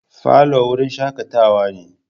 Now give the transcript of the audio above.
Falo wurin shakatawa ne.